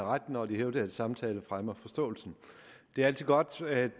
har ret når de hævder at samtale fremmer forståelsen det er altid godt at